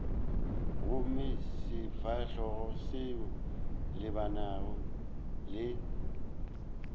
gomme sefahlogo se lebane le